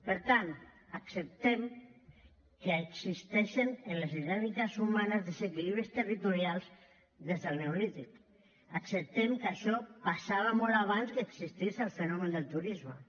per tant acceptem que existeixen en les dinàmiques humanes desequilibris territorials des del neolític acceptem que això passava molt abans que existís el fenomen del turisme